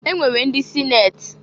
E nwere ndị sineti.